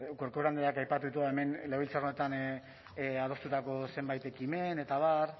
corcuera andreak aipatu dituen hemen legebiltzar honetan adostutako zenbait ekimen eta abar